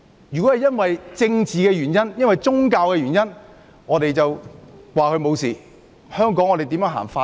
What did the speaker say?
如果因政治或宗教原因而不作檢控，香港如何落實法治？